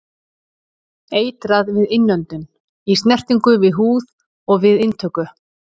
Eitrað við innöndun, í snertingu við húð og við inntöku.